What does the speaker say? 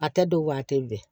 A tɛ don waati bɛɛ